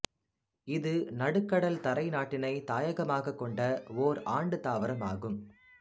இது நடுக்கடல்தரை நாட்டினைத் தாயகமாகக் கொண்ட ஒர் ஆண்டுத் தாவரமாகும்